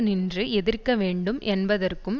நின்று எதிர்க்கவேண்டும் என்பதற்கும்